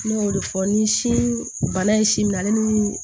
Ne y'o de fɔ ni sin bana ye sin minɛ ale ni